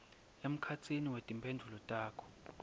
emkhatsini wetimphendvulo takho